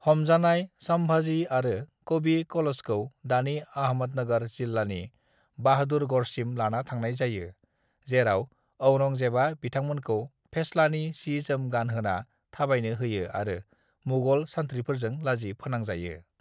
"हमजानाय संभाजी आरो कवि कलशखौ दानि अहमदनगर जिल्लानि बहादुरगढ़सिम लाना थांनाय जायो, जेराव औरंगजेबआ बिथांमोनखौ फेस्लानि सि-जोम गानहोना थाबायनो होयो आरो मुगल सानथ्रिफोरजों लाजि फोनांजायो।"